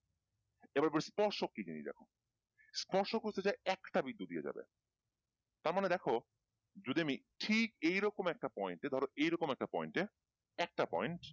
এবার বলি স্পর্শ কি জিনিস দেখো স্পর্শক হচ্ছে যে একটা বিন্দু দিয়ে যাবে তার মানে দেখো যদি আমি ঠিক এইরকম একটা point এ ধরো এইরকম একটা point এ একটা point